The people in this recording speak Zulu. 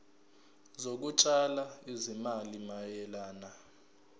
zokutshala izimali mayelana